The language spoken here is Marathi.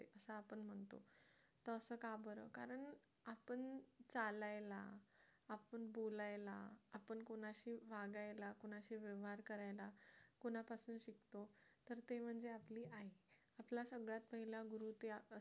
असं का बरं कारण आपण चालायला आपण बोलायला आपण कुणाशी वागायला कुणाशी व्यवहार करायला कुणापासून शकतो तर ते म्हणजे आपली आई आपला सगळ्यात पहिला गुरु